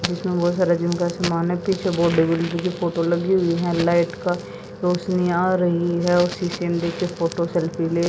जिसमें बहोत सारे जिम का सामान है पीछे बहोत बड़ी फोटो लगी हुई है लाइट का रौशनी आ रही है उसी शीशे में देख के फोटो सेल्फी ले--